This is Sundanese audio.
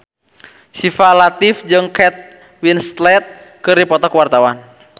Syifa Latief jeung Kate Winslet keur dipoto ku wartawan